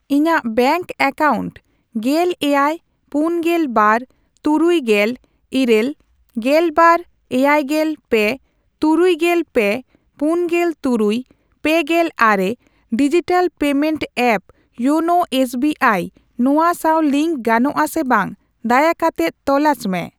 ᱤᱧᱟᱜ bank account ᱜᱮᱞ ᱮᱭᱟᱭ, ᱯᱩᱱᱜᱮᱞ ᱵᱟᱨ, ᱛᱩᱨᱩᱭᱜᱮᱞ ᱤᱨᱟᱹᱞ, ᱜᱮᱞᱵᱟᱨ, ᱮᱭᱟᱭᱜᱮᱞ ᱯᱮ, ᱛᱩᱨᱩᱭᱜᱮᱞ ᱯᱮ, ᱯᱩᱱᱜᱮᱞ ᱛᱩᱨᱩᱭ, ᱯᱮᱜᱮᱞ ᱟᱨᱮ digital payment app YONO SBI ᱱᱚᱣᱟ ᱥᱟᱶ ᱞᱤᱝᱠ ᱜᱟᱱᱚᱜᱼᱟ ᱥᱮ ᱵᱟᱝ ᱫᱟᱭᱟ ᱠᱟᱛᱮᱫ ᱛᱚᱞᱟᱥ ᱢᱮ ?